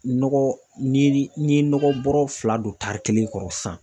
Nɔgɔ ni n ye nɔgɔ bɔrɔ fila don tari kelen kɔrɔ sisan.